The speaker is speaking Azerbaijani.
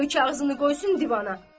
qoy kağızını qoysun divana.